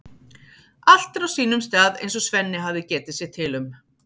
Allt er á sínum stað eins og Svenni hafði getið sér til um.